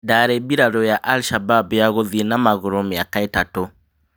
Ndarĩ mbirarũ ya Al Shabab ya gũthiĩ na magũrũ mĩaka ĩtatũ.